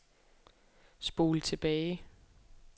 spol tilbage